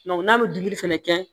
n'a bɛ digi fɛnɛ kɛ